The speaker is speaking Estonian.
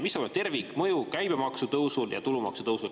Mis on tervikmõju käibemaksutõusul ja tulumaksutõusul?